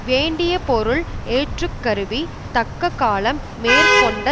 வேண்டிய பொருள் ஏற்றுக்கருவி தக்க காலம் மேற்கொண்ட